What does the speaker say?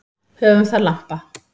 Höfum það lampa.